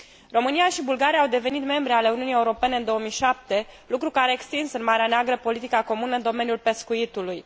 România și Bulgaria au devenit membre ale Uniunii Europene în 2007, lucru care a extins în Marea Neagră politica comună în domeniul pescuitului.